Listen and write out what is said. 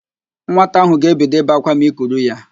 Nwata ahụ ga-ebido ibe ákwá ma i kuru ya